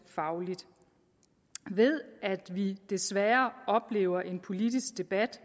fagligt ved at vi desværre oplever en politisk debat